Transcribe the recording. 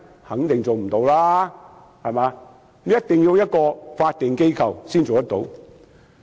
肯定無法做到，一定要由法定機構才能做到。